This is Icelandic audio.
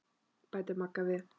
bætir Magga við.